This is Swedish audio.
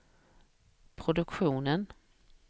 produktionen